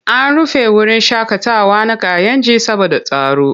An rufe wurin shaƙatawa na Kayenji saboda tsaro.